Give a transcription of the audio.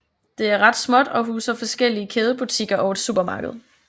Det er ret småt og huser forskellige kædebutikker og et supermarked